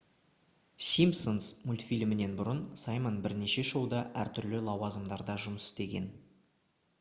simpsons мультфильмінен бұрын саймон бірнеше шоуда әртүрлі лауазымдарда жұмыс істеген